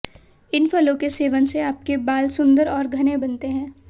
इन फलों के सेवन से आपके बाल सुंदर और घने बनते हैं